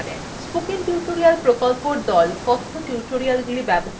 spoken tutorial প্রকল্পর the